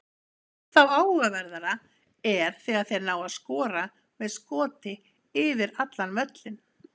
Ennþá áhugaverðara er þegar þeir ná að skora með skoti yfir allan völlinn.